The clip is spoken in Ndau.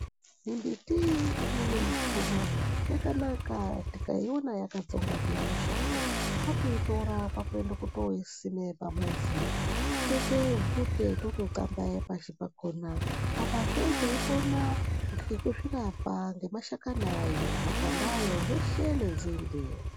Mimbuti imweni mushango yakanaka tikaiona yakatsonga zviyane kwakuitora toende kosima pamuzi totoite bvute totoqlambayaya pashi pakona alazve tizvirapa nemashakani nenzinde yakona .